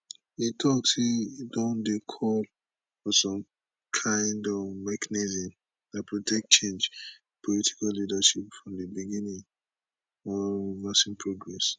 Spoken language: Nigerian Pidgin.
e tok say e don dey call for some kind of mechanism dat protect change in political leadership from di beginning or reversing progress